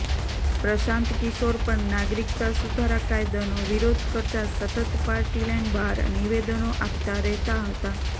પ્રશાંત કિશોર પણ નાગરિકતા સુધારા કાયદાનો વિરોધ કરતાં સતત પાર્ટીલાઇન બહાર નિવેદનો આપતા રહેતા હતા